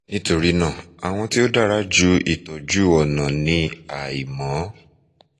nitorina awọn ti o dara ju itọju ọna ni aimọ